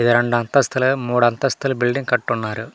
ఇది రెండు అంతస్తులే మూడు అంతస్తుల బిల్డింగ్ కట్టున్నారు.